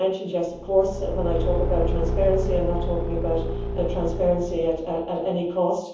Yes, of course, when I talk about transparency, I am not talking about transparency at any